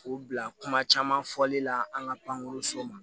K'u bila kuma caman fɔli la an ka pankoroso ma